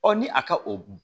ni a ka o